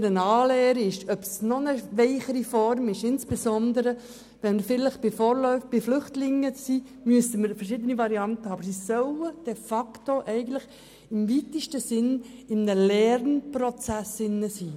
Ob es nun eine Anlehre oder eine noch weichere Form ist – insbesondere bei Flüchtlingen müssten wir verschiedene Varianten haben –, sie sollen sich jedenfalls im weitesten Sinn in einem Lernprozess befinden.